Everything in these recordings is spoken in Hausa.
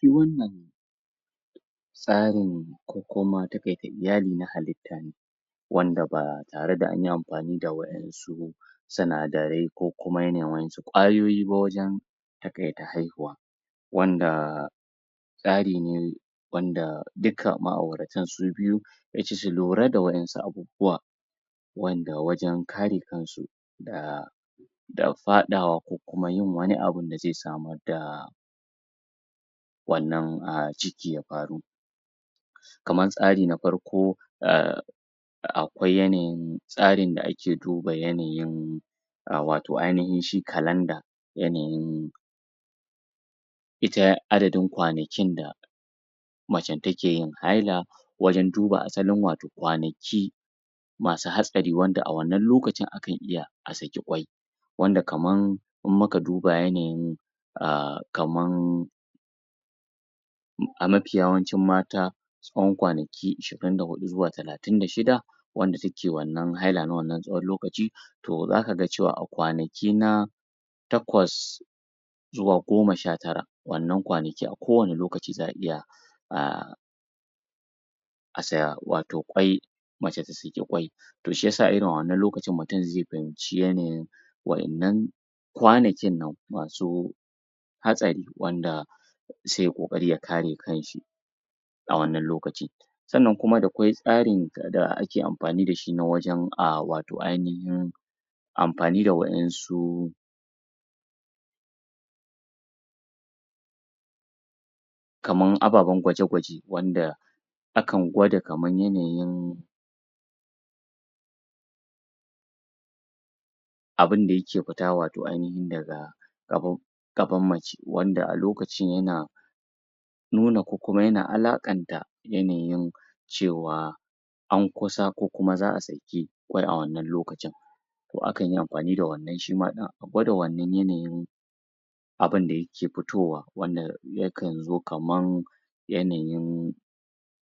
duk wannan tsarin, ko kuma taƙaita iyali na halitta ne wanda ba tare da anyi amfani da waƴansu sinadarai ko kuma yanayin waƴansu ƙwayoyi ba wajen taƙaita haihuwa wanda tsari ne wanda duka ma'auratan su biyu yaci su lura da waƴansu abubuwa wanda wajen kare kansu da da faɗawa, ko kuma yin wani abun da zai samar da wannan um ciki ya faru kamar tsari na farko, umm akwai yanayin tsarin da ake duba yanayin um, wato ainihin shi kalanda yanayin ita adadin kwanakin da macen take yin haila wajen duba asalin wato kwanaki masu hatsari wanda a wannan lokacin akan iya a saki ƙwai wanda kaman in muka duba yanayin um kaman a mafi yawancin mata tsahon kwanaki ishirin da huɗu zuwa talatin da shida wanda take wannan haila na wannan tsahon lokaci to zakaga cewa a kwanaki na takwas zuwa goma sha tara wannan kwanaki a kowanne lokaci za'a iya um a sa wato ƙwai mace ta saki ƙwai to shiyasa irin wannan lokacin mutum zai fahimci yanayin waƴannan kwanakin nan masu hatsari, wanda sai yai ƙoƙari ya kare kanshi a wannan lokaci sannan kuma dakwai tsarin da ake amfani da shi na wajen um wato ainahin amfani da waƴansu kaman ababan gwaje-gwaje wanda akan gwada kaman yanayin abinda yake fita wato ainihin daga gaban gaban mace.wanda a lokacin yana nuna ko kuma yana alaƙanta yanayin cewa an kusa, ko kuma za'a saki ƙwai a wannan lokacin to akan yi amfani da wannan shima ɗin,a gwada wannan yanayin abinda yake fitowa, wanda yakan zo kaman yanayin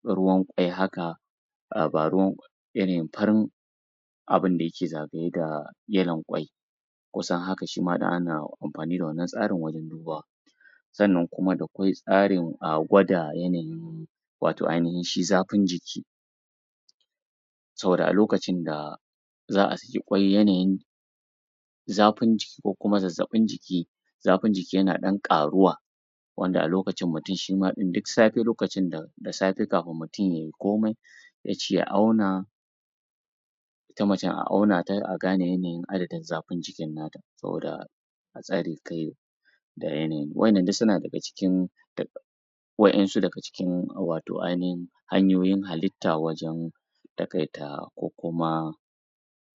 ruwan ƙwai haka a ba ruwan yanayin farin abinda yake zagaye da yalon ƙwai kusan haka shima ɗin ana amfani da wannan tsarin wajen dubawa sannan kuma dakwai tsarin um gwada yanayin wato ainihin shi zafin jiki saboda a lokacin da za'a saki ƙwai, yanayin zafin jiki, ko kuma zazzaɓin jiki zafin jiki yana ɗan ƙaruwa wanda alokacin mutum shima ɗin duk safe lokacin da da safe kafin mutum yayi komai ya ci ya auna ita macen a auna ta, a gane yanayin adadin zafin jikin nata saboda a tsare kai da yanayi.waƴannan duk suna daga cikin da waƴansu daga cikin wato ainihin hanyoyin halitta wajen taƙaita, ko kuma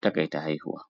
taƙaita haihuwa.